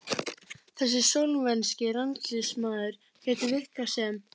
Þessi slóvenski landsliðsmaður gæti virkað sem